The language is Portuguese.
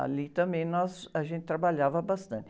Ali também nós, a gente trabalhava bastante.